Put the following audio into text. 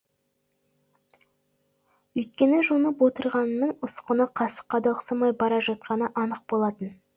өйткені жонып отырғанының ұсқыны қасыққа да ұқсамай бара жатқаны анық болатын